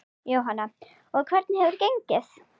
Jóhanna: Og hvernig hefur gengið?